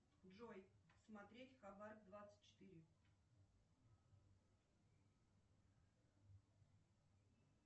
джой смотреть хабар двадцать четыре